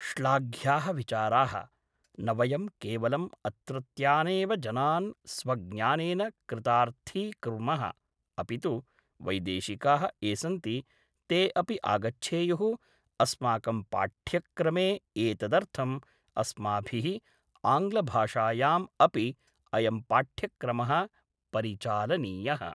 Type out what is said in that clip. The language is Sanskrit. श्लाघ्याः विचाराः, न वयं केवलं अत्रत्यानेव जनान् स्वज्ञानेन कृतार्थीकुर्मः अपि तु वैदेशिकाः ये सन्ति ते अपि आगच्छेयुः अस्माकं पाठ्यक्रमे एतदर्थम् अस्माभिः आङ्ग्लभाषायाम्‌ अपि अयं पाठ्यक्रमः परिचालनीयः